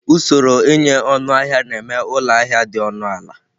Usoro ịnye ọnụahịa na eme ụlọ ahịa dị ọnụ ala.